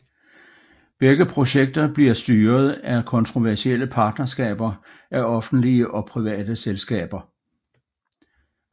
Begge projekter bliver styret af kontroversielle partnerskaber af offentlige og private selskaer